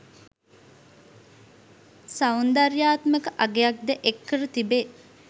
සෞන්දර්යාත්මක අගයක්ද එක් කර තිබේ.